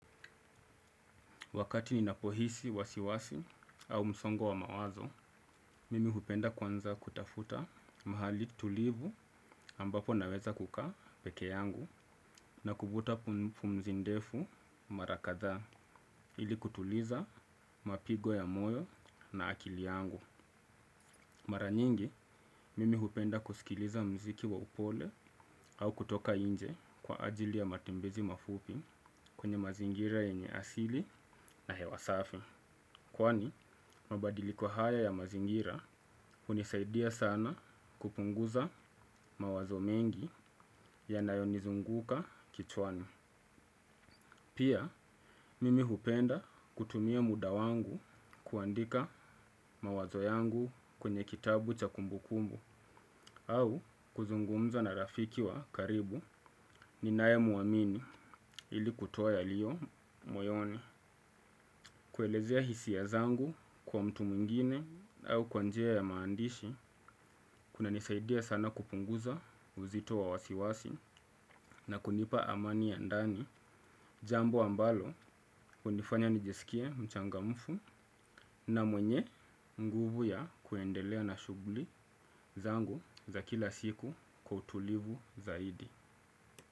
Wakati ninapohisi wasi wasi au msongo wa mawazo, mimi hupenda kuanza kutafuta mahali tulivu ambapo naweza kukaa peke yangu na kuvuta pumzi ndefu mara kadhaa ili kutuliza mapigo ya moyo na akili yangu. Mara nyingi, mimi hupenda kusikiliza mziki wa upole au kutoka inje kwa ajili ya matembezi mafupi kwenye mazingira yenye asili na hewa safi. Kwani mabadiliko haya ya mazingira unisaidia sana kupunguza mawazo mengi yanayonizunguka kichwani. Pia mimi hupenda kutumia muda wangu kuandika mawazo yangu kwenye kitabu cha kumbukumbu. Au kuzungumza na rafiki wa karibu ninaye mwamini ili kutoa yaliyo moyoni. Kuelezea hisia zangu kwa mtu mwingine au kwa njia ya maandishi. Kunanisaidia sana kupunguza uzito wa wasiwasi na kunipa amani ya ndani. Jambo ambalo hunifanya nijisikie mchangamufu na mwenye nguvu ya kuendelea na shugli zangu za kila siku kwa utulivu zaidi.